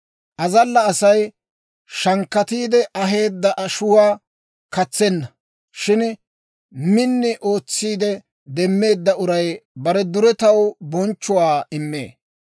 Azalla Asay shankkatiide aheedda ashuwaa katsenna; shin min ootsiide demeedda uray bare duretaw bonchchuwaa immee.